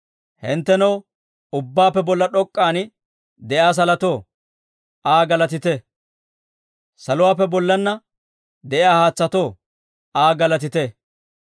Hinttenoo, ubbaappe bolla d'ok'k'an de'iyaa salotoo, Aa galatite. Saluwaappe bollaanna de'iyaa haatsatoo, Aa galatite.